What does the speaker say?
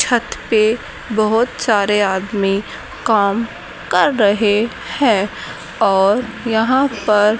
छत पे बहुत सारे आदमी काम कर रहे है और यहां पर --